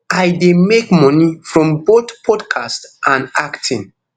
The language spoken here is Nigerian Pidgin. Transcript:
i dey make money from both podcast and acting